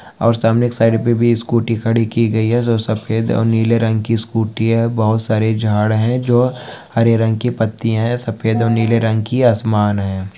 और सामने एक साइड मे भी स्कूटी खड़ी की गई है जो सफ़ेद और नीले रंग की स्कूटी है बहुत सारे झाड है जो हरे रंग की पत्तिया है सफ़ेद और नीले रंग की आसमान है।